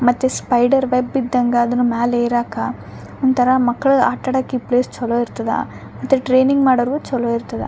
ಮತ್ತೆ spider web ಇದ್ದಂಗ ಅದ್ರ್ ಮ್ಯಾಲ್ ಏರಾಕ ಒಂಥರ ಮಕ್ಳ್ ಆಟ ಆಡಾಕ ಈ ಪ್ಲೇಸ್ ಚೊಲೋ ಇರ್ತದ ಮತ್ತೆ ಟ್ರೈನಿಂಗ್ ಮಾಡೋರಗು ಚೊಲೋ ಇರ್ತದ .